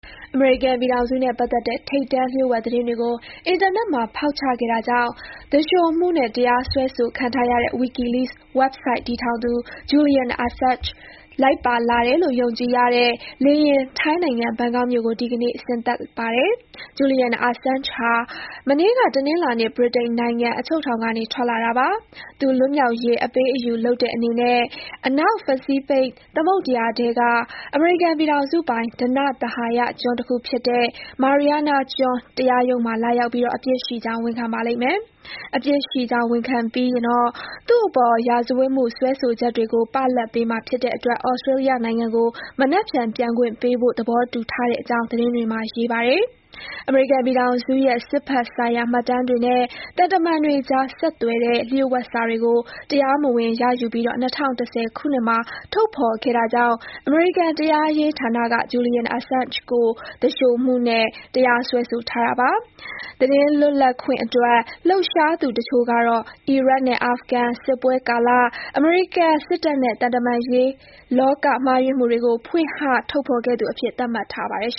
အမေရိကန်ပြည်ထောင်စုနဲ့ ပတ်သက်တဲ့ ထိပ်တန်းလျှို့ဝှက် သတင်းတွေကို အင်တာနက်မှာ ဖောက်ချခဲ့တာကြောင့် သူလျှိုမှုနဲ့ တရားစွဲဆိုခံထားရတဲ့ WikiLeaks ဝဘ်ဆိုဒ် တည်ထောင်သူ Julian Assange လိုက်ပါလာတဲ့ လေယာဉ် ထိုင်းနိုင်ငံ ဘန်ကောက်မြို့ကို ဒီနေ့ ဆင်းသက်ပါတယ်။ Julian Assange ဟာ မနေ့က တနင်္လာနေ့ ဗြိတိန်နိုင်ငံ အချုပ်ထောင်ကနေ ထွက်လာတာပါ။ သူ လွတ်မြောက်ရေး အပေးအယူလုပ်တဲ့အနေနဲ့ အနောက် ပစိဖိတ်ဖိတ် သမုဒ္ဒယာထဲက အမေရိကန်ပြည်ထောင်စုပိုင် ဓနသဟာယကျွန်း တခုဖြစ်တဲ့ Mariana ကျွန်း တရားရုံးမှာ လာရောက်ပြီး အပြစ်ရှိကြောင်း ဝန်ခံပါလိမ့်မယ်။ အပြစ်ရှိကြောင်း ဝန်ခံပြီးရင် သူ့အပေါ် ရာဇဝတ်မှု စွဲဆိုချက်တွေကို ပလတ်ပေးမှာ ဖြစ်တဲ့အတွက် ဩစတေးလျနိုင်ငံကို မနက်ဖြန် ပြန်ခွင့်ပေးဖို့ သဘောတူထားတဲ့အကြောင်း သတင်းတွေမှာ ရေးပါတယ်။ အမေရိကန်ပြည်ထောင်စုရဲ့ စစ်ဖက်ဆိုင်ရာ မှတ်တမ်းတွေနဲ့ သံတမန်တွေကြား ဆက်သွယ်တဲ့ လျှို့ဝှက်စာတွေကို တရားမဝင်ရယူပြီး ၂၀၁၀ ခုနှစ်မှာ ထုတ်ဖေါ်ခဲ့တာကြောင့် အမေရိကန် တရားရေးဌာနက Julian Assange သူလျှိုမှုနဲ့ တရားစွဲဆိုထားတာပါ။ သတင်းလွတ်လပ်ခွင့် အတွက် လှုပ်ရှားသူတချို့ကတော့ အီရတ်နဲ့ အာဖဂန်စစ်ပွဲကာလ အမေရိကန်စစ်တပ်နဲ့ သံတမန်ရေးလောက မှားယွင်းမှုတွေကို ဖွင့်ဟထုတ်ဖေါ်ခဲ့သူအဖြစ် သတ်မှတ်ထားပါတယ်။